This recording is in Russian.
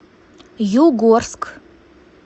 югорск